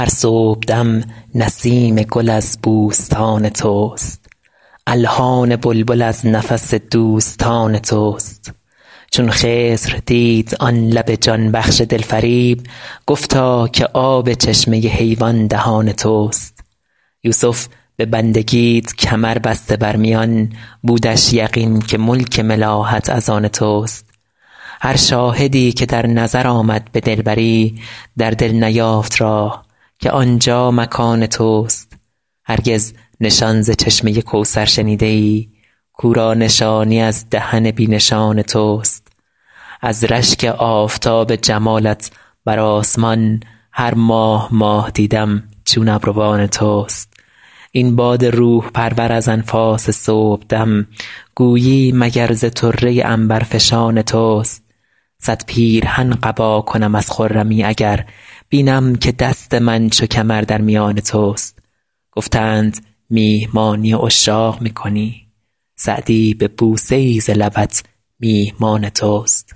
هر صبحدم نسیم گل از بوستان توست الحان بلبل از نفس دوستان توست چون خضر دید آن لب جان بخش دلفریب گفتا که آب چشمه حیوان دهان توست یوسف به بندگیت کمر بسته بر میان بودش یقین که ملک ملاحت از آن توست هر شاهدی که در نظر آمد به دلبری در دل نیافت راه که آنجا مکان توست هرگز نشان ز چشمه کوثر شنیده ای کاو را نشانی از دهن بی نشان توست از رشک آفتاب جمالت بر آسمان هر ماه ماه دیدم چون ابروان توست این باد روح پرور از انفاس صبحدم گویی مگر ز طره عنبرفشان توست صد پیرهن قبا کنم از خرمی اگر بینم که دست من چو کمر در میان توست گفتند میهمانی عشاق می کنی سعدی به بوسه ای ز لبت میهمان توست